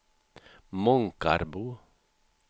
Månkarbo